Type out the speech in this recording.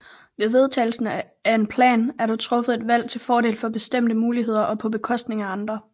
Ved vedtagelsen af en plan er der truffet et valg til fordel for bestemte muligheder og på bekostning af andre